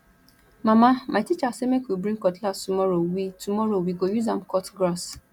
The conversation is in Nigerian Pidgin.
mama my teacher say make we bring cutlass tomorrow we tomorrow we go use am cut grass